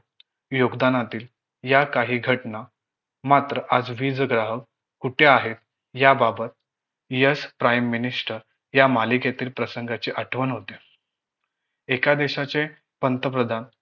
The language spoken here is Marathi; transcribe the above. योगदानातील या काही घटना मात्र आज वीज ग्राहक कुठे आहेत याबाबत यश prime minister या मालिकेतील प्रसंगाची आठवण होते एका दिवसाचे पंतप्रधान